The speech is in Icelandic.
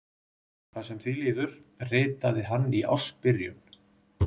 Hvað sem því líður, ritaði hann í ársbyrjun